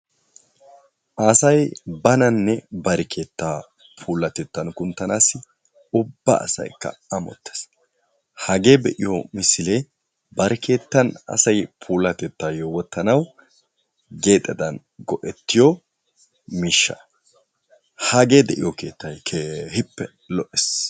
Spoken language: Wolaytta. asay bananne bari keettaa puulaten kunttanassi ubba asaykka ammotees. hage de'iyo miishshay bari keettan asay puulatettaw wottanaw geexedan go''etiyo miishsha. hagee de'iyo keettay keehippe lo''ees.